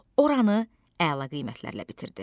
Oranı əla qiymətlərlə bitirdi.